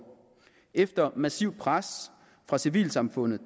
efter massivt pres fra civilsamfundet